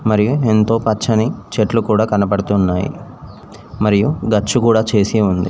మరియు ఎంతో పచ్చని చెట్లు కూడా కనబడుతున్నాయి మరియు గచ్చు కూడా చేసి ఉంది.